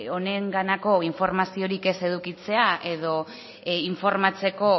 honenganako informaziorik ez edukitzea edo informatzeko